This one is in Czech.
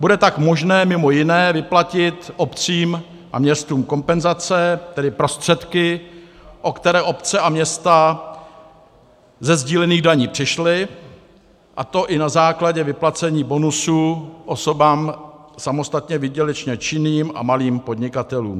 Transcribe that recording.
Bude tak možné, mimo jiné, vyplatit obcím a městům kompenzace, tedy prostředky, o které obce a města ze sdílených daní přišly, a to i na základě vyplacení bonusu osobám samostatně výdělečně činným a malým podnikatelům.